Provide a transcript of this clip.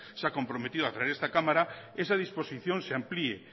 se ha comprometido a través de esta cámara esa disposición se amplié